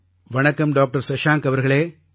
வணக்கம் டாக்டர் சஷாங்க் அவர்களே